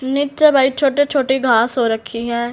नीचे भाई छोटे छोटे घास हो रखी है।